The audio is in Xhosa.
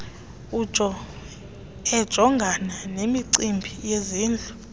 ejongana nemicimbi yezindlu